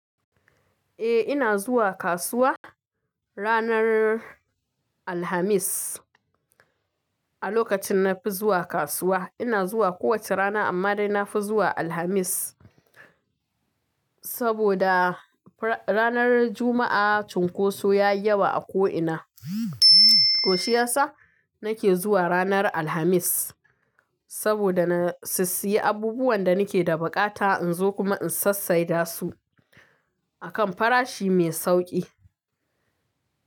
Eh ina zuwa kasuwa ranar Alhamis. A lokacin na fi zuwa kasuwa ina zuwa kowace rana amma dai na fi zuwa Alhamis. Saboda ranar Juma'a cunkoso ya yi yawa a ko'ina. To shiyasa nake zuwa ranar Alhamis saboda na si-siyi abubuwan da nake da bukata in zo kuma in sassai da su a kan farashi mai sauki.